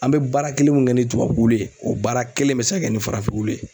An be baara kelen mun kɛ ni tubabu wulu ye o baara kelen bɛ se ka kɛ ni farafin wulu ye.